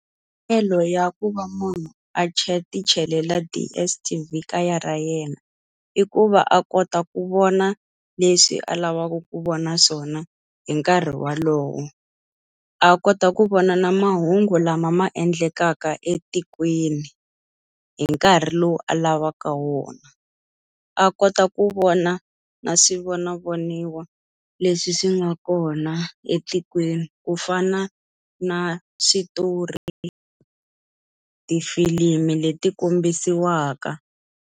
Ya ku va munhu a ti chelela DSTV kaya ra yena, i ku va a kota ku vona leswi a lavaka ku vona swona hi nkarhi wolowo. A kota ku vona na mahungu lama ma endlekaka etikweni hi nkarhi lowu a lavaka wona. A kota ku vona na swivonavoniwa leswi swi nga kona etikweni, ku fana na switori, tifilimi leti kombisiwaka.